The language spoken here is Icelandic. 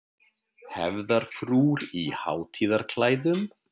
Hefðarfrúr í hátíðarklæðum.